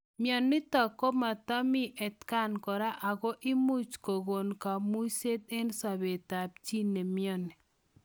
Mionitok komatamii atakaan koraa ako imuch kokon kamuiset eng sobeetap chii nemioni.